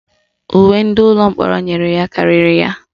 Uwe ndị ụlọ mkpọrọ enyere ya karịrị ya.